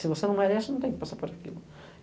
Se você não merece, não tem que passar por aquilo.